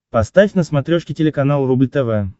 поставь на смотрешке телеканал рубль тв